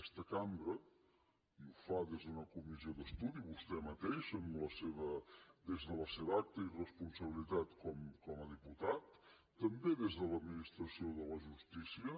aquesta cambra i ho fa des d’una comissió d’estudi vostè mateix des de la seva acta i responsabilitat com a diputat també des de l’administració de la justícia